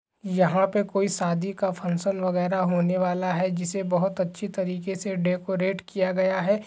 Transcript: यहाँ पर कोई शादी का फंक्शन वगेरा होने वाला है जिसे बहुत अच्छे तरीके से डेकोरैट किया गया है।